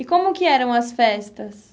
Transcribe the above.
E como que eram as festas?